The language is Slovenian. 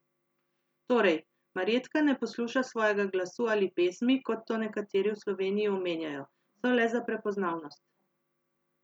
Torej, Marjetka ne posluša svojega glasu ali pesmi, kot to nekateri v Sloveniji omenjajo, so le za prepoznavnost.